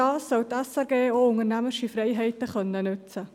Dazu soll die SRG auch unternehmerische Freiheiten nutzen dürfen.